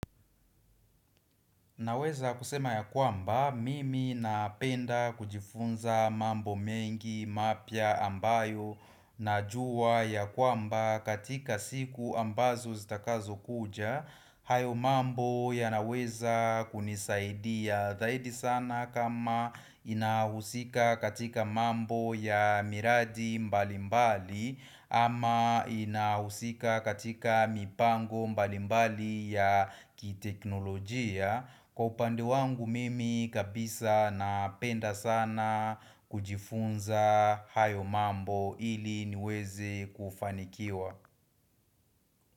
Naweza kusema ya kwamba, mimi napenda kujifunza mambo mengi mapya ambayo na jua ya kwamba katika siku ambazo zitakazokuja hayo mambo yanaweza kunisaidia zaidi sana kama inahusika katika mambo ya miradi mbalimbali ama inahusika katika mipango mbalimbali ya kiteknolojia Kwa upandi wangu mimi kabisa napenda sana kujifunza hayo mambo ili niweze kufanikiwa.